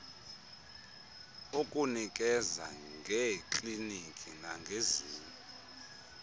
ukunikeza ngeekliniki nangezinye